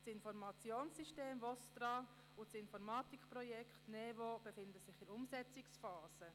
Das Informationssystem VOSTRA und das Informatikprojekt NeVo befinden sich in der Umsetzungsphase.